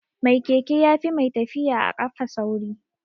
Mai keke yafi mai tafiya a kafa sauri